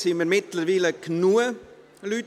Wir sind mittlerweile genügend Leute.